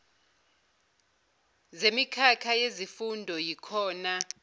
zemikhakha yezifundo yikhona